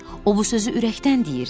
O bu sözü ürəkdən deyirdi.